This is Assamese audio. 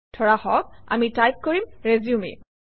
ধৰা হওক আমি টাইপ কৰিম - RESUME